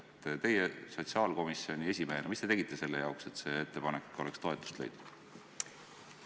Mida te sotsiaalkomisjoni esimehena tegite selle jaoks, et see ettepanek oleks toetust leidnud?